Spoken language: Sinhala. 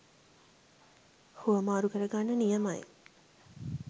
හුවමාරු කරගන්න නියමයි.